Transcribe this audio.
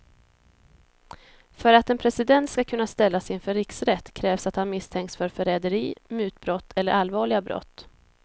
För att en president ska kunna ställas inför riksrätt krävs att han misstänks för förräderi, mutbrott eller allvarliga brott.